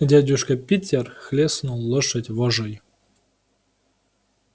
дядюшка питер хлёстнул лошадь вожжой